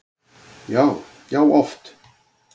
Já, já oft.